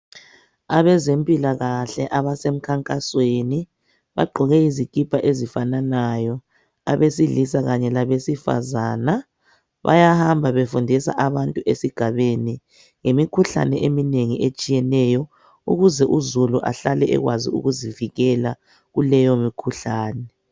Abezempilakahle abasemkhankasweni bagqoke izikipa ezifananayo abesilisa Kanye labesifazana bayahamba befundisa abantu esigabeni ngemikhuhlane eminengi etshiyeneyo ukuze uzulu ahlale ekwazi ukuzivikela kuleyi mikhuhlane